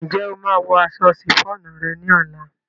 Ǹjẹ́ o máa wọ aṣọ ṣìfóònù rẹ ní ọ̀la?